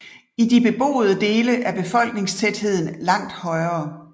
I de beboede dele er befolkningstætheden langt højere